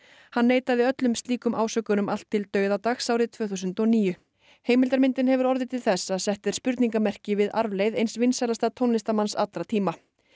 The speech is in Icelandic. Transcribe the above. hann neitaði öllum slíkum ásökunum allt til dauðadags árið tvö þúsund og níu heimildarmyndin hefur orðið til þess að sett er spurningamerki við arfleifð eins vinsælasta tónlistarmanns allra tíma